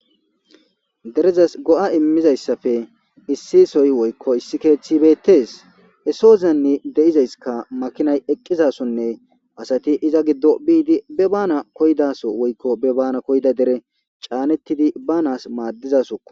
derezas go7a immizayssafe issiisoy woykko issi keeththi beettees esoozanni de7izayskka makinay eqqizasonne asati iza giddo biidi be bana koydaso woykko be bana koyda dere caanettidi ba nas maaddizasoko